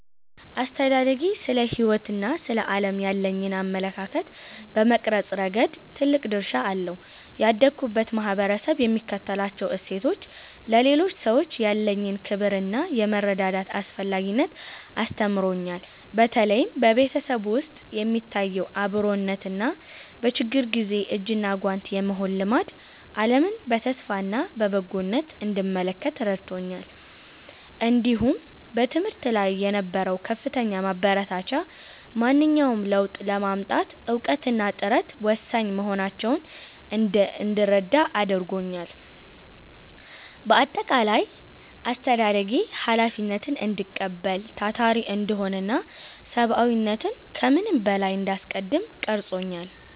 አስተዳደጌ ስለ ሕይወትና ስለ ዓለም ያለኝን አመለካከት በመቅረጽ ረገድ ትልቅ ድርሻ አለው። ያደግሁበት ማኅበረሰብ የሚከተላቸው እሴቶች፣ ለሌሎች ሰዎች ያለኝን ክብርና የመረዳዳት አስፈላጊነትን አስተምረውኛል። በተለይም በቤተሰብ ውስጥ የሚታየው አብሮነትና በችግር ጊዜ እጅና ጓንት የመሆን ልማድ፣ ዓለምን በተስፋና በበጎነት እንድመለከት ረድቶኛል። እንዲሁም በትምህርት ላይ የነበረው ከፍተኛ ማበረታቻ፣ ማንኛውንም ለውጥ ለማምጣት እውቀትና ጥረት ወሳኝ መሆናቸውን እንዳምን አድርጎኛል። በአጠቃላይ፣ አስተዳደጌ ኃላፊነትን እንድቀበል፣ ታታሪ እንድሆንና ሰብዓዊነትን ከምንም በላይ እንዳስቀድም ቀርጾኛል።